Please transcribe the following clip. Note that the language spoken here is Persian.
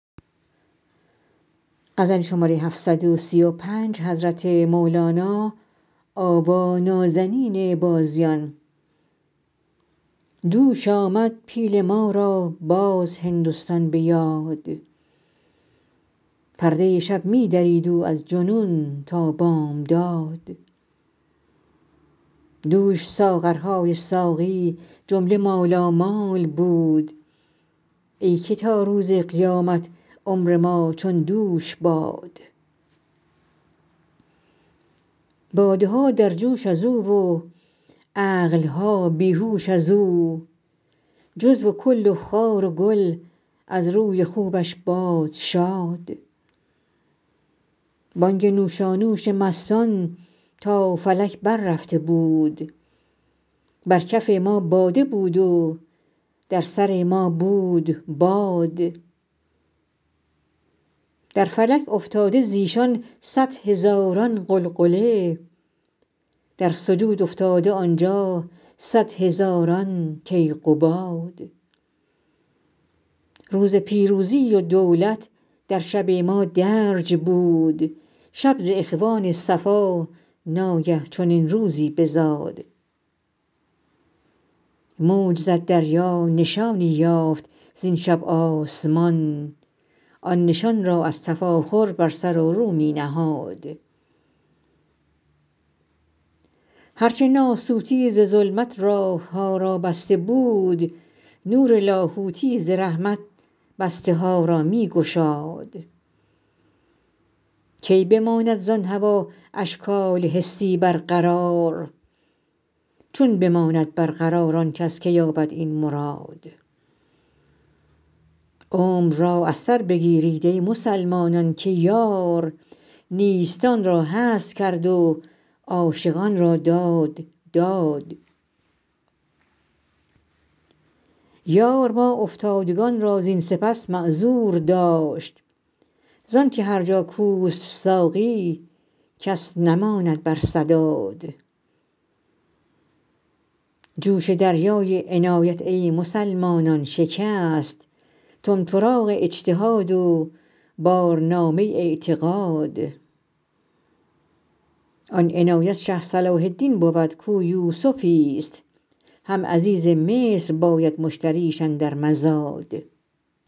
دوش آمد پیل ما را باز هندستان به یاد پرده شب می درید او از جنون تا بامداد دوش ساغرهای ساقی جمله مالامال بود ای که تا روز قیامت عمر ما چون دوش باد باده ها در جوش از او و عقل ها بی هوش از او جزو و کل و خار و گل از روی خوبش باد شاد بانگ نوشانوش مستان تا فلک بررفته بود بر کف ما باده بود و در سر ما بود باد در فلک افتاده ز ایشان صد هزاران غلغله در سجود افتاده آن جا صد هزاران کیقباد روز پیروزی و دولت در شب ما درج بود شب ز اخوان صفا ناگه چنین روزی بزاد موج زد دریا نشانی یافت زین شب آسمان آن نشان را از تفاخر بر سر و رو می نهاد هر چه ناسوتی ز ظلمت راه ها را بسته بود نور لاهوتی ز رحمت بسته ها را می گشاد کی بماند زان هوا اشکال حسی برقرار چون بماند برقرار آن کس که یابد این مراد عمر را از سر بگیرید ای مسلمانان که یار نیستان را هست کرد و عاشقان را داد داد یار ما افتادگان را زین سپس معذور داشت زان که هر جا کوست ساقی کس نماند بر سداد جوش دریای عنایت ای مسلمانان شکست طمطراق اجتهاد و بارنامه اعتقاد آن عنایت شه صلاح الدین بود کو یوسفیست هم عزیز مصر باید مشتریش اندر مزاد